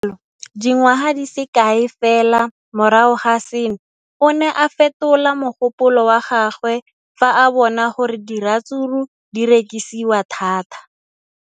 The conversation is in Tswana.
Le fa go le jalo, dingwaga di se kae fela morago ga seno, o ne a fetola mogopolo wa gagwe fa a bona gore diratsuru di rekisiwa thata.